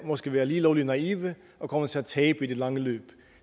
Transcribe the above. måske være lige lovlig naive og komme til at tabe i det lange løb